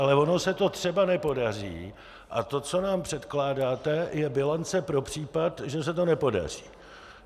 Ale ono se to třeba nepodaří a to, co nám předkládáte, je bilance pro případ, že se to nepodaří.